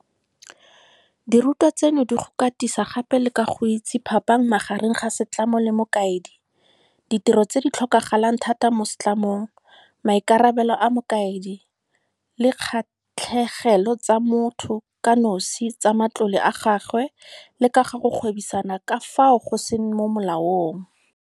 Dirutwa tseno di go katisa gape le ka go itse phapang magareng ga setlamo le mokaedi, ditiro tse di tlhokagalang thata mo setlamong, maikarabelo a mokaedi, di kgatlhegelo tsa motho kanosi tsa matlole a gagwe le ka ga go gwebisana ka fao go seng mo molaong.